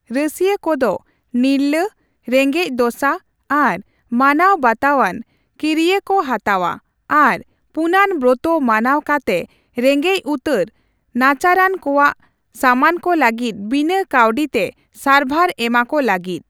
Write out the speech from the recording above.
ᱨᱟᱹᱥᱭᱟᱹ ᱠᱚᱫᱚ ᱱᱤᱨᱞᱟᱹ, ᱨᱮᱜᱮᱸᱡ ᱫᱚᱥᱟ ᱟᱨ ᱢᱟᱱᱟᱣᱼᱵᱟᱛᱟᱣᱟᱱ ᱠᱤᱨᱭᱟᱹ ᱠᱚ ᱦᱟᱛᱟᱣᱟ ᱟᱨ ᱯᱩᱱᱟᱱ ᱵᱨᱚᱛᱚ ᱢᱟᱱᱟᱣ ᱠᱟᱛᱮᱼ ᱨᱮᱸᱜᱮᱡ ᱩᱛᱟᱹᱨ ᱱᱟᱪᱟᱨᱟᱱ ᱠᱚᱣᱟᱜ ᱥᱟᱢᱟᱱᱠᱚ ᱞᱟᱹᱜᱤᱫ ᱵᱤᱱᱟᱹ ᱠᱟᱹᱣᱰᱤ ᱛᱮ ᱥᱟᱨᱵᱷᱟᱨ ᱮᱢᱟ ᱠᱚ ᱞᱟᱹᱜᱤᱫ ᱾